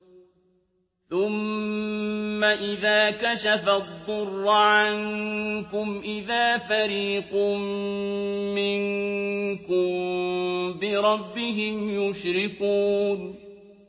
ثُمَّ إِذَا كَشَفَ الضُّرَّ عَنكُمْ إِذَا فَرِيقٌ مِّنكُم بِرَبِّهِمْ يُشْرِكُونَ